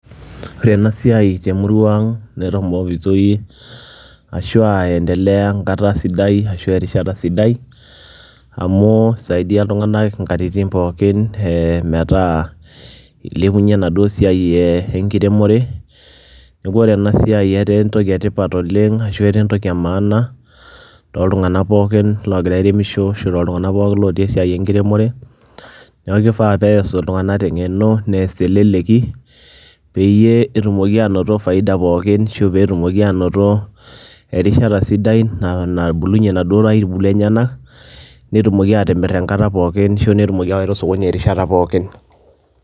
Ore enasiai temurua aang netomokitoi ashu aa enkata sidai amu isaidia ltunganak nkatitin pookin metaa ilepunya enaduo siai enkiremore, neaku ore enasiai ataa entoki etipat oleng ashu etaa enemaana toltunganak pookin ogira aremisho ashu lotii esiai enkiremore, neaku kifaa peas ltunganak tengeno neas teleleki peyie etumoki anoto faida pookin ashu petumoki ainoto erishata sidai nabulunye naduo aitubulu enyenak nitukoki atimir enkata pooki ashu etumoki awaita osokoni .